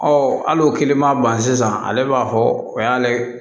hali o kiliman ban sisan ale b'a fɔ o y'ale